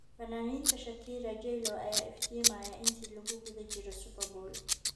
Fanaaniinta Shakira, J-Lo ayaa iftiimaya inta lagu guda jiro Superbowl